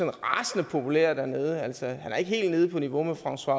er rasende populær dernede han er ikke helt nede på niveau med françois